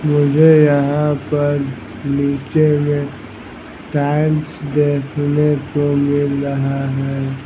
मुझे यहाँ पर नीचे में डांस देखने को मिल रहा है।